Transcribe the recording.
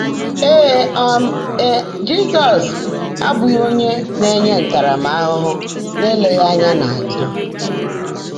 Ée um é, Jị́zọ́s ábụ́ghị́ ónyé ná-ènyé ntárámahụ́hụ́ n’èléghị́ ányá n’àzụ́.